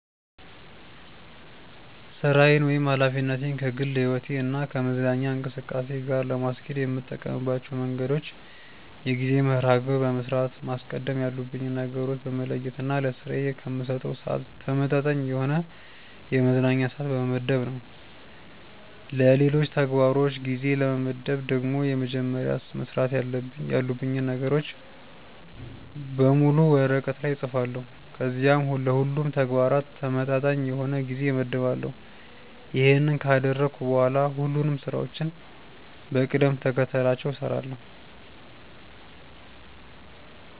ሥራዬን ወይም ኃላፊነቴን ከግል ሕይወቴ እና ከመዝናኛ እንቅስቃሴ ጋር ለማስኬድ የምጠቀምባቸው መንገዶች የጊዜ መርሐ ግብር በመስራት፣ ማስቀደም ያሉብኝን ነገሮች በመለየት እና ለስራዬ ከምሰጠው ስዓት ተመጣጣኝ የሆነ የመዝናኛ ስዓት በመመደብ ነው። ለሌሎች ተግባሮች ጊዜ ለመመደብ ደግሞ መጀመሪያ መስራት ያሉብኝን ነገሮች በሙሉ ወረቀት ላይ እፅፋለሁ ከዚያም ለሁሉም ተግባራት ተመጣጣኝ የሆነ ጊዜ እመድባለሁ። ይሄንን ካደረግኩ በኋላ ሁሉንም ስራዎችን በቅደም ተከተላቸው እሰራለሁ።